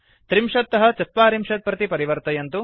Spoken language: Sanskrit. ३० तः ४० प्रति परिवर्तयन्तु